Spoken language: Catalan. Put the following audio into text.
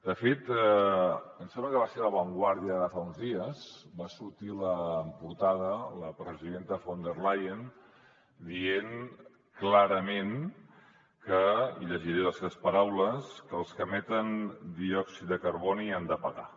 de fet em sem·bla que va ser a la vanguardia de fa uns dies que va sortir en portada la presidenta von der leyen dient clarament que i llegiré les seves paraules els que emeten di·òxid de carboni han de pagar